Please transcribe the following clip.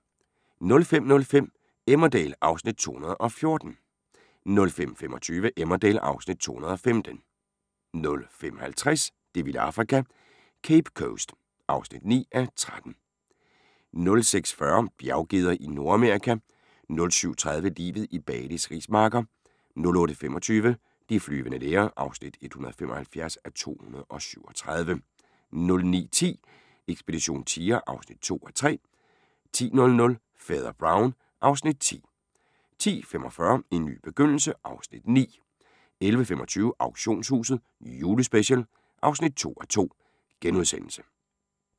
05:05: Emmerdale (Afs. 214) 05:25: Emmerdale (Afs. 215) 05:50: Det vilde Afrika - Cape Coast (9:13) 06:40: Bjerggeder i Nordamerika 07:30: Livet i Balis rismarker 08:25: De flyvende læger (175:237) 09:10: Ekspedition tiger (2:3) 10:00: Fader Brown (Afs. 10) 10:45: En ny begyndelse (Afs. 9) 11:25: Auktionshuset – Julespecial (2:2)*